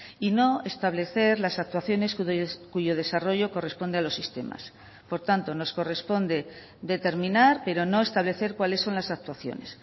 y no establecer las actuaciones cuyo desarrollo corresponde a los sistemas por tanto nos corresponde determinar pero no establecer cuáles son las actuaciones